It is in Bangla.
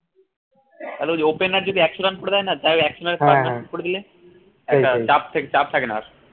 opener যদি একশ run করে দেয় না তায় করে দিলে চাপ চাপ থাকে না আর